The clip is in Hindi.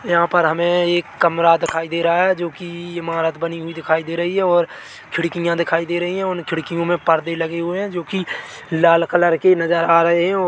यहाँ पर हमें एक कमरा दिखाई दे रहा है जो कि इमारत बनी हुई है और खिड़कियाँ दिखाई दे रही है खिड़कियों में पर्दे लगे है जो कि लाल कलर की नज़र आ रहे है और--